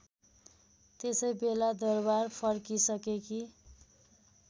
त्यसैबेला दरबार फर्किसकेकी